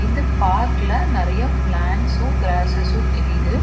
இந்த பார்க்ல நறைய பிளான்ட்ஸும் கிராசஸும் தெரியுது.